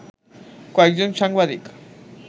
কয়েকজন সাংবাদিক